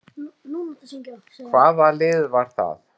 Hvaða lið var það?